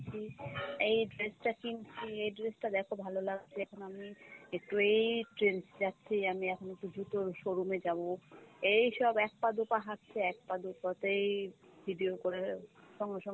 , এই dress টা কিনছি, এই dress টা দেখো ভালো লাগছে এখন আমি একটু এই trends এ যাচ্ছি, আমি এখন একটু জুতোর showroom এ যাবো, এইসব এক পা দু'পা হাঁটছে, এক পা দু'পা তেই video করে। সঙ্গে সঙ্গে